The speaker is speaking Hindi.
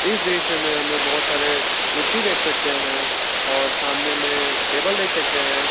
इस दृश्य में हम लोग बहुत सारे कुर्सी देख सकते हैं और सामने में टेबल देख सकते हैं।